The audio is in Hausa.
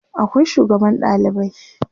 akwai sugaban ɗalibai